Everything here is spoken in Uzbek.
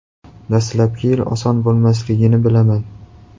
Dastlabki yil oson bo‘lmasligini bilaman.